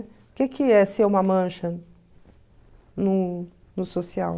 O que é ser uma mancha no no social?